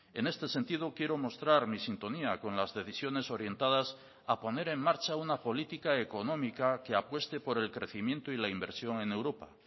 en este sentido quiero mostrar mi sintonía con las decisiones orientadas a poner en marcha una política económica que apueste por el crecimiento y la inversión en europa